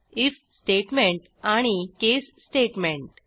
if statement आणि case statement